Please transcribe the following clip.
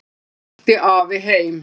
Svo rölti afi heim.